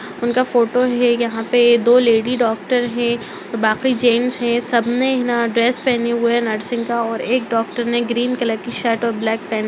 उनका फोटो हैं यहाँ पे दो लेडी डॉक्टर हैं बाकी जेंट्स हैं सबने हैं ना ड्रेस पहने हुए हैं नर्सिंग का और एक डॉक्टर ने ग्रीन कलर की शर्ट और ब्लैक पैंट --